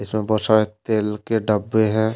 इसमें बहुत सारा तेल के डब्बे है।